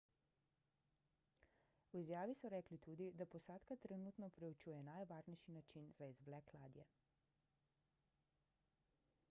v izjavi so rekli tudi da posadka trenutno preučuje najvarnejši način za izvlek ladje